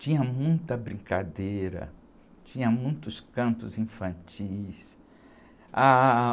Tinha muita brincadeira, tinha muitos cantos infantis. Ah...